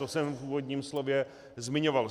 To jsem v úvodním slově zmiňoval.